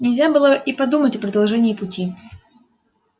нельзя было и подумать о продолжении пути